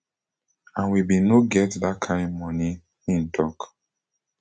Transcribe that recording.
and we bin no get dat kain moni im tok